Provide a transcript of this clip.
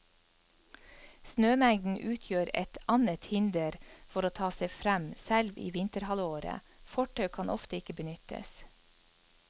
Snømengden utgjør et annet hinder for å ta seg frem selv i vinterhalvåret, fortau kan ofte ikke benyttes.